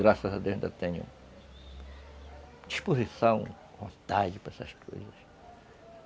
Graças a Deus, eu ainda tenho disposição, vontade para essas coisas.